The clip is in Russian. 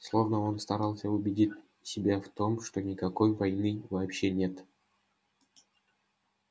словно он старался убедить себя в том что никакой войны вообще нет